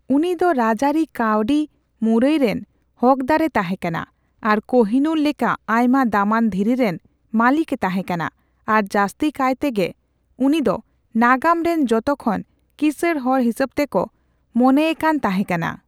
ᱩᱱᱤ ᱫᱚ ᱨᱟᱡᱟᱹᱨᱤ ᱠᱟᱹᱣᱰᱤ ᱢᱩᱨᱟᱹᱭ ᱨᱮᱱ ᱦᱚᱠᱫᱟᱹᱨᱮ ᱛᱟᱦᱮᱠᱟᱱᱟ ᱟᱨ ᱠᱳᱦᱤᱱᱩᱨ ᱞᱮᱠᱟ ᱟᱭᱢᱟ ᱫᱟᱢᱟᱱ ᱫᱷᱤᱨᱤ ᱨᱮᱱ ᱢᱟᱹᱞᱤᱠᱮ ᱛᱟᱦᱮᱠᱟᱱᱟ ᱟᱨ ᱡᱟᱹᱥᱛᱤ ᱠᱟᱭᱛᱮᱜᱮ ᱩᱱᱤ ᱫᱚ ᱱᱟᱜᱟᱢ ᱨᱮᱱ ᱡᱚᱛᱚ ᱠᱷᱚᱱ ᱠᱤᱥᱟᱹᱲ ᱦᱚᱲ ᱦᱤᱥᱟᱹᱵ ᱛᱮ ᱠᱚ ᱢᱚᱱᱮᱭᱮᱠᱟᱱ ᱛᱟᱦᱮᱠᱟᱱᱟ ᱾